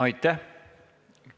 Aitäh!